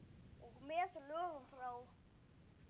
Og með lögum frá